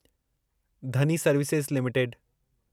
Dhani services limited